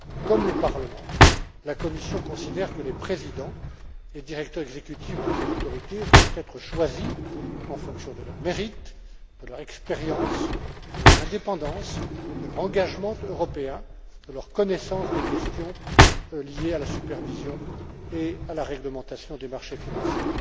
Comme le Parlement, la Commission considère que les présidents et directeurs exécutifs de ces autorités doivent être choisis en fonction de leurs mérites, de leur expérience, de leur indépendance, de leur engagement européen, de leurs connaissances des questions liées à la supervision et à la réglementation des marchés financiers.